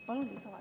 Palun lisaaega.